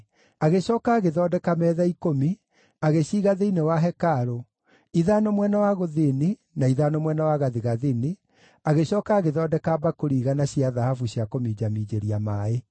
Agĩcooka agĩthondeka metha ikũmi, agĩciiga thĩinĩ wa hekarũ, ithano mwena wa gũthini na ithano mwena wa gathigathini, agĩcooka agĩthondeka mbakũri 100 cia thahabu cia kũminjaminjĩria maaĩ.